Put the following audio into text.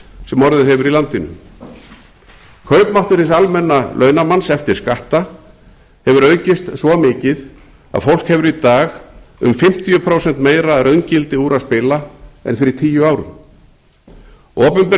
sem orðið hefur í landinu kaupmáttur hins almenna launamanns eftir skatta hefur aukist svo mikið að fólk hefur í dag um fimmtíu prósentum meira að raungildi úr að spila en fyrir tíu árum opinber